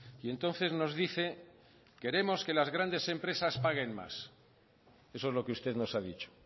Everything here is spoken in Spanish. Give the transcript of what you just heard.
y entonces nos dice queremos que las grandes empresas paguen más eso es lo que usted nos ha dicho